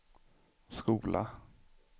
skola